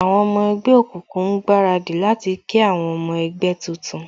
Àwọn ọmọ ẹgbẹ́ òkùnkùn ń gbaradì láti kí àwọn ọmọ ẹgbẹ́ tuntun